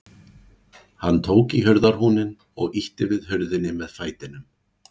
Hann tók í hurðarhúninn og ýtti við hurðinni með fætinum.